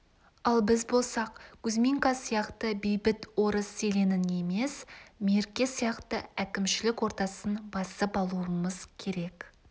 ал біз болсақ кузьминка сияқты бейбіт орыс селенін емес мерке сияқты әкімшілік ордасын басып алуымыз керек